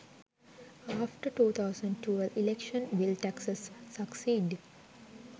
after 2012 election will taxes succeed